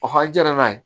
a jara n'a ye